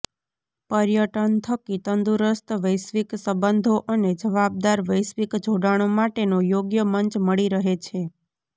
પર્યટન થકી તંદુરસ્ત વૈશ્વિક સંબંધો અને જવાબદાર વૈશ્વિક જોડાણો માટેનો યોગ્ય મંચ મળી રહે છે